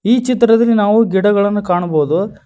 ಈ ಚಿತ್ರದಲ್ಲಿ ನಾವು ಗಿಡಗಳನ್ನು ಕಾಣಬಹುದು.